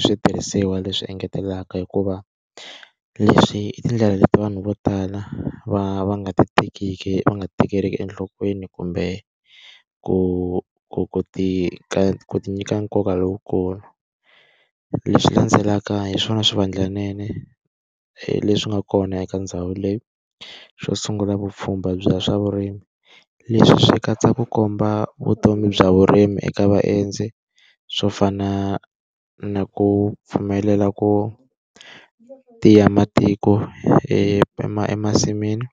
switirhisiwa leswi engetelaka hikuva, leswi i tindlela leti vanhu vo tala va va nga ti tekiki va nga ti tekeliki enhlokweni kumbe ku ku ku ti ku ti nyika nkoka lowukulu. Leswi landzelaka hi swona swivandlanene leswi nga kona eka ndhawu leyi. Xo sungula vupfhumba bya swa vurimi. Leswi swi katsa ku komba vutomi bya vurimi eka vaendzi, swo fana na ku pfumelela ku tiya matiko emasin'wini,